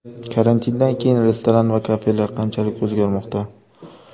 Karantindan keyin restoran va kafelar qanchalik o‘zgarmoqda?